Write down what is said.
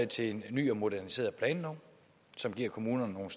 til en ny og moderniseret planlov som giver kommunerne nogle